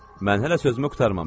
Mən hələ sözümü qurtarmamışam.